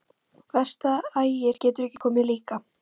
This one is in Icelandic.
Verst að Ægir getur ekki komið líka.